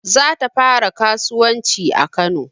Za ta fara kasuwanci a kano